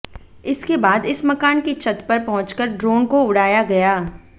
इसके बाद इस मकान की छत पर पहुंचकर ड्रोन को उड़ाया गया